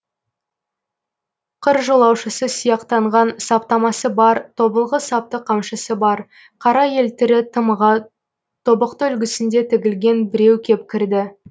қыр жолаушысы сияқтанған саптамасы бар тобылғы сапты қамшысы бар қара елтірі тымағы тобықты үлгісінде тігілген біреу кеп кірді